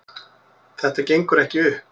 Þetta gengur ekki upp